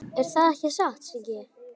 Er það ekki satt, Siggi?